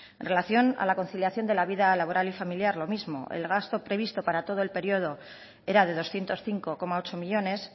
en relación a la conciliación de la vida laboral y familiar lo mismo el gasto previsto para todo el periodo era de doscientos cinco coma ocho millónes